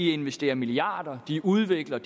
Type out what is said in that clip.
investerer milliarder udvikler